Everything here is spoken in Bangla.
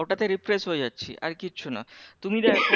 ওটাতে refresh হয়ে যাচ্ছি আর কিচ্ছু না তুমি দেখো